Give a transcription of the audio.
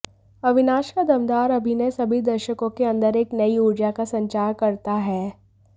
अविनाश का दमदार अभिनय सभी दर्शकों के अंदर एक नयी ऊर्जा का संचार करता है